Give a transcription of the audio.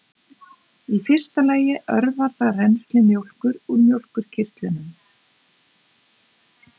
í fyrsta lagi örvar það rennsli mjólkur úr mjólkurkirtlum